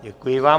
Děkuji vám.